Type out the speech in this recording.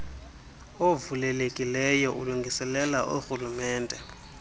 uvulelekileyo ulungiselela orhulumente